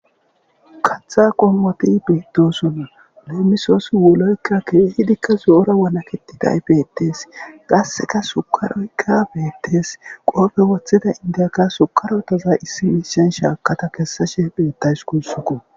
katha qommoti beettosunna leemisoosi woloykka keehidikka zoora wanaketi tay bettees gasseka sukaroykka beettees qoofe woththida indiyaka sukarotaza issi mishen shaakata kessashe beettays kuussuko